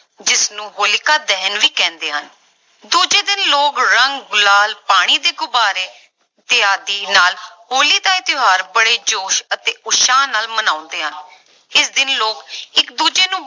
ਜਿਸਨੂੰ ਹੋਲਿਕਾ ਦਹਨ ਵੀ ਕਹਿੰਦੇ ਹਨ ਦੂਜੇ ਦਿਨ ਲੋਕ ਰੰਗ, ਗੁਲਾਲ, ਪਾਣੀ ਦੇ ਗੁਬਾਰੇ ਇਤਆਦਿ ਨਾਲ ਹੋਲੀ ਦਾ ਇਹ ਤਿਉਹਾਰ ਬੜੇ ਜੋਸ਼ ਅਤੇ ਉਤਸ਼ਾਹ ਨਾਲ ਮਨਾਉਂਦੇ ਆ, ਇਸ ਦਿਨ ਲੋਕ ਇੱਕ ਦੂਜੇ ਨੂੰ